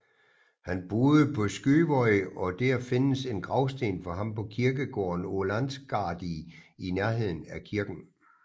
Han boede på Skuvoy og der findes en gravsten for ham på kirkegården Ólansgarði i nærheden af kirken